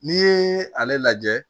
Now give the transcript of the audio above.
N'i ye ale lajɛ